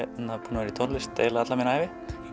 vera í tónlist alla mína ævi